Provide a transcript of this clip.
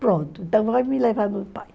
Pronto, então me levar no pai.